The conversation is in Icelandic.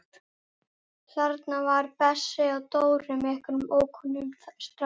Þetta voru þeir Bessi og Dóri með einhverjum ókunnum strák.